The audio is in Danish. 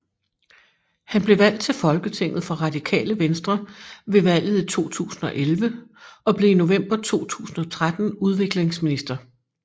Han blev valgt til Folketinget for Radikale Venstre ved valget i 2011 og blev i november 2013 udviklingsminister